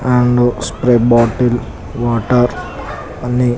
and sprite bottle water అన్నీ --